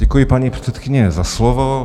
Děkuji, paní předsedkyně, za slovo.